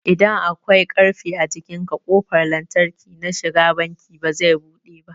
idan akwai ƙarfe a jikinka ƙofar lantarki na shiga banki bazai buɗe ba